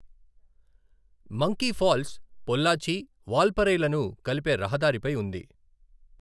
Monkey falls Pollachi, వాల్పరైలను కలిపే రహదారిపై ఉంది.